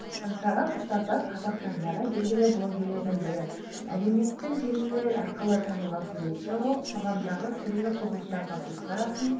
аңсаған мұстафа қазақстандағы белгілі блогерлердің бірі әлеуметтік желілер арқылы танылған суретші ол қоғамдағы түрлі құбылыстарға көзқарасын